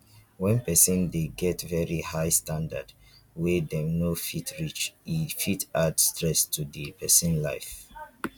when person dey get very high standards wey dem no fit reach e fit add stress to di person life